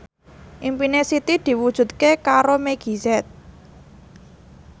impine Siti diwujudke karo Meggie Z